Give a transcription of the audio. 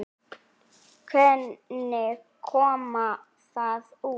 Hvernig kom það út?